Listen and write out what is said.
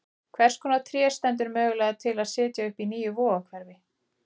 Hvers konar tré stendur mögulega til að setja upp í nýju Vogahverfi?